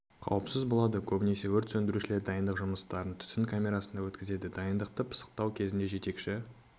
қауіпсіз болады көбінесе өрт сөндірушілер дайындық жұмыстарын түтін камерасында өткізеді дайындықты пысықтау кезінде жетекші